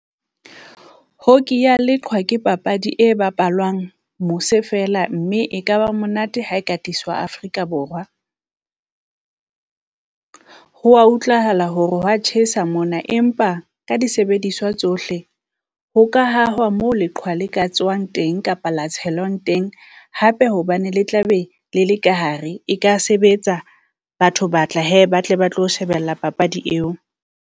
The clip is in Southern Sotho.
Hockey ya leqhwa ke papadi e bapalwang mosa feela, mme e ka ba monate ha e ka tiswa katswa Afrika Borwa. Ho wa utlwahala hore ho wa tjhesa mona, empa ka disebediswa tsohle ho ka hahwa mo leqhwa le ka tswang teng, kapa la tshelwang teng. Hape hobane le tla be le le ka hare, e ka sebetsa, batho ba tla hee ba tle ba tlo shebella papadi eo.